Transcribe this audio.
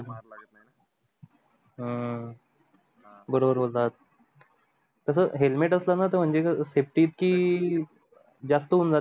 बरोबर बोलात कस helmet असत ना म्हणजे safety ईतकी जास्त होऊन जा